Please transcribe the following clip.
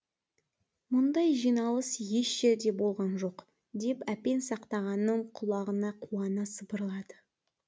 мұндай жиналыс еш жерде болған жоқ деп әпен сақтағанның құлағына қуана сыбырлады